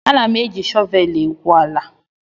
Ana m e ji shọvel egwu ala